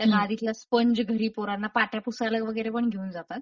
त्या गादीतला स्पंज घरी पोरांना पाट्या पुसायला वगैरे पण घेऊन जातात.